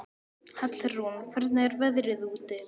Hallrún, hvernig er veðrið úti?